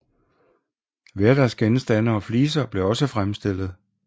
Hverdagsgenstande og fliser blev også fremstillet